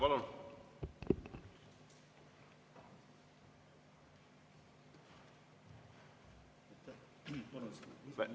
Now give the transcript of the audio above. Palun!